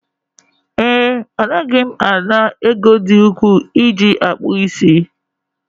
ee, Anaghị m ana m ego dị ukwuu iji akpụ isi